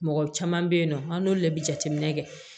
Mɔgɔ caman bɛ yen nɔ an n'olu le bɛ jateminɛ kɛ